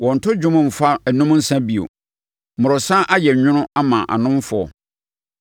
Wɔnnto dwom mfa nnom nsã bio; mmorɔsa ayɛ nwono ama anomfoɔ.